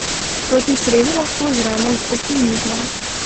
Proti sredi lahko zremo z optimizmom.